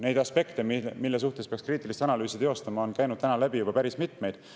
Neid aspekte, mille suhtes peaks kriitilist analüüsi teostama, on käinud läbi juba päris mitmeid.